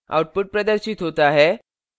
output प्रदर्शित होता है